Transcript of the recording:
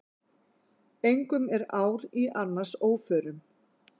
Engum er ár í annars óförum.